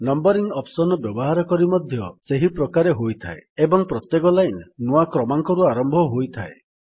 numbering option ର ବ୍ୟବହାର ମଧ୍ୟ ସେହି ପ୍ରକାରେ ହୋଇଥାଏ ଏବଂ ପ୍ରତ୍ୟେକ ଲାଇନ୍ ନୂଆ କ୍ରମାଙ୍କରୁ ଆରମ୍ଭ ହୋଇଥାଏ